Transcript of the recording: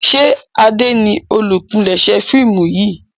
ṣe Ade ní olùpilèsè fíìmù yí?